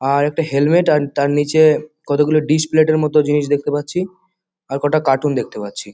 আরেকটা হেলমেট আর তার নিচে কতগুলো ডিশ প্লেট -এর মতো জিনিস দেখতে পাচ্ছি আর কটা কার্টুন দেখতে পাচ্ছি।